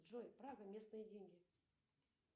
джой прага местные деньги